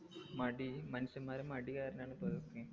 മടി മനുഷ്യന്മാരെ മടി കാരണാണ് പ്പൊഇതൊക്കെ